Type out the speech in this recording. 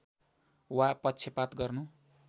वा पक्षपात गर्नु